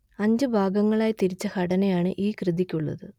അഞ്ചു ഭാഗങ്ങളായി തിരിച്ച ഘടനയാണ് ഈ കൃതിക്കുള്ളത്